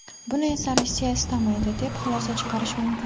Buni esa Rossiya istamaydi, deb xulosa chiqarish mumkin.